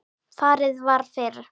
Farið var fyrir